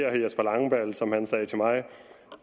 herre jesper langballe som han sagde til mig